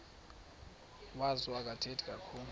wazo akathethi kakhulu